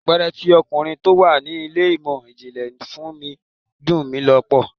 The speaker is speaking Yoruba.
Abéré tí ọkùnrin tó wà ní ilé ìmò ìjìnlẹ̀ fún mi dun ni lọ́pọ̀.